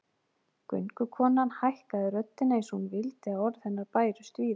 Göngukonan hækkaði röddina eins og hún vildi að orð hennar bærust víða